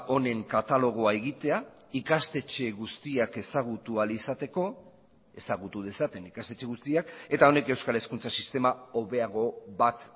onen katalogoa egitea ikastetxe guztiak ezagutu ahal izateko ezagutu dezaten ikastetxe guztiak eta honek euskal hezkuntza sistema hobeago bat